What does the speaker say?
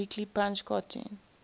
weekly punch cartoon